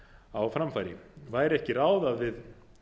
á framfæri væri ekki ráð að við